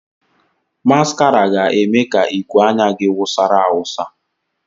Maskara ga-eme ka iku anya gị wụsara awụsa